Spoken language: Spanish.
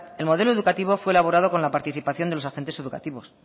el modelo educativo fue elaborado con la participación de los agentes educativos